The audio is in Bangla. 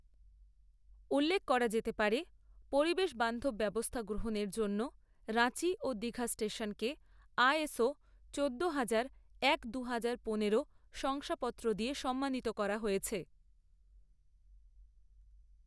উল্লেখ করা যেতে পারে, পরিবেশ বান্ধব ব্যবস্থা গ্রহণের জন্য রাঁচি ও দীঘা স্টেশনকে আএসও চোদ্দোহাজার এক দুহাজার পনেরো শংসাপত্র দিয়ে সম্মানিত করা হয়েছে।